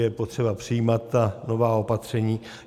Je potřeba přijímat ta nová opatření.